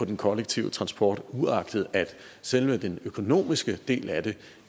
den kollektive transport uagtet at selve den økonomiske del af det